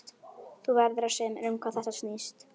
Þú verður að segja mér um hvað þetta snýst.